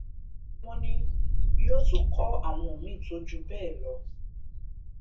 wọn ní yóò tún kọ àwọn míín tó jù bẹẹ lọ